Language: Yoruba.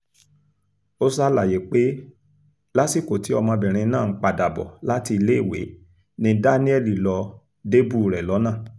ó ṣàlàyé pé lásìkò tí ọmọbìnrin náà ń padà bọ̀ láti iléèwé ni daniel lọ́ọ́ débùú rẹ̀ lọ́nà